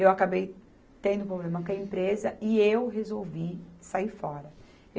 Eu acabei tendo um problema com a empresa e eu resolvi sair fora.